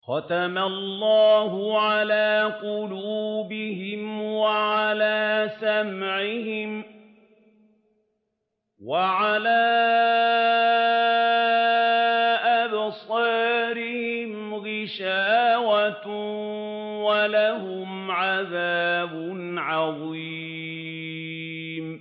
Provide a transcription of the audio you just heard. خَتَمَ اللَّهُ عَلَىٰ قُلُوبِهِمْ وَعَلَىٰ سَمْعِهِمْ ۖ وَعَلَىٰ أَبْصَارِهِمْ غِشَاوَةٌ ۖ وَلَهُمْ عَذَابٌ عَظِيمٌ